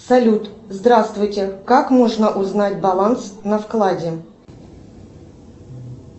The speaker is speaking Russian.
салют здравствуйте как можно узнать баланс на вкладе